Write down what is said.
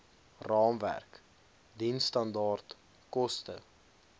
raamwerk diensstandaard koste